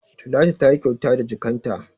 Talatu tayi kyauta da jakkan ta